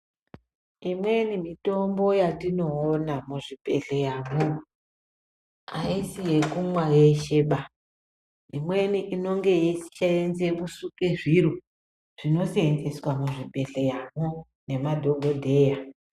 Imweni mitombo yatinoona muzvibhedhleyamo haisi yekumwa yesheba. Imweni inonge yeisenze kusuke zviro zvinosenzeswa muzvibhedhleyamo nemadhogodheya.